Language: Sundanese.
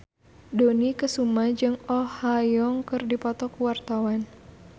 Dony Kesuma jeung Oh Ha Young keur dipoto ku wartawan